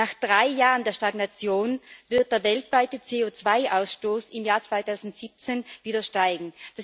Nach drei Jahren der Stagnation wird der weltweite CO2 Ausstoß im Jahr 2017 wieder steigen.